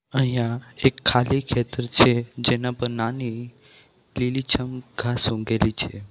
અહીંયા એક ખાલી ખેતર છે જેના પર નાની લીલીછમ ઘાસ ઉગેલી છે.